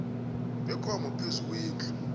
bekomo phezu kwendlu